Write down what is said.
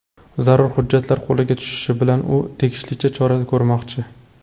Zarur hujjatlar qo‘liga tushishi bilan, u tegishlicha chora ko‘rmoqchi.